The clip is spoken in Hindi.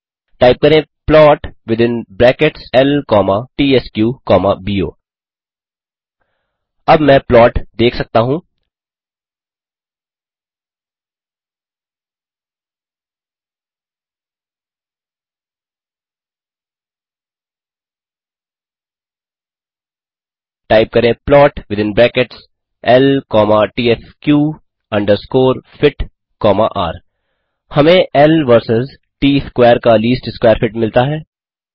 टाइप करें प्लॉट विथिन ब्रैकेट्स ल कॉमा त्स्क कॉमा बो अब मैं प्लॉट देख सकता हूँ टाइप करें प्लॉट विथिन ब्रैकेट्स ल कॉमा त्स्क अंडरस्कोर फिट कॉमा र हमें इल वर्सस ट स्कवैर का लीस्ट स्कवैर फिट मिलता है